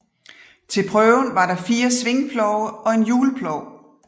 Til prøven var der fire svingplove og en hjulplov